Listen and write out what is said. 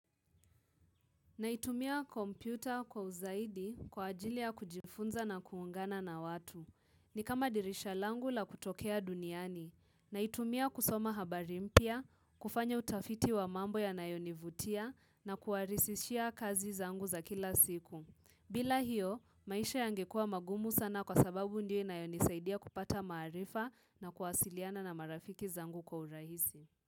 Naitumia kompyuta kwa uzaidi kwa ajili ya kujifunza na kuungana na watu. Ni kama dirisha langu la kutokea duniani. Naitumia kusoma habari mpya, kufanya utafiti wa mambo yanayonivutia na kuwarisishia kazi zangu za kila siku. Bila hiyo, maisha yangekua mangumu sana kwa sababu ndio inayonisaidia kupata maarifa na kuwasiliana na marafiki zangu kwa urahisi.